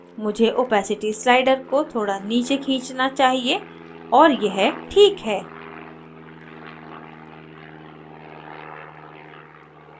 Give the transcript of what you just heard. मुझे opacity slider को थोड़ा नीचे खींचना चाहिए और यह ठीक है